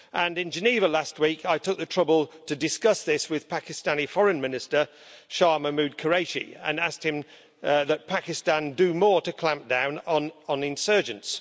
In Geneva last week, I took the trouble to discuss this with Pakistani Foreign Minister Shah Mahmood Qureshi, and I asked him that Pakistan do more to clamp down on insurgents.